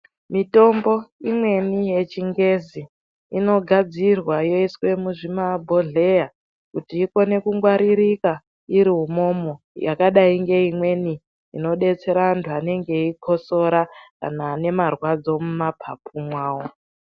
Mitombo imweni yechingezi inogadzirwa yoiswa muzvimabhodhleya kuti ikone kungwaririka umomo yakadai ngeimweni inodetsera antu anenge eikosora anhu ane marwadzo mumapapu mwawo .